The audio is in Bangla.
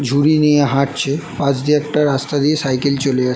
ঝুড়ি নিয়ে হাটছে পাস দিয়ে একটা রাস্তা দিয়ে সাইকেল চলে যা --